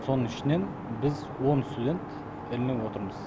соның ішінен біз он студент ілініп отырмыз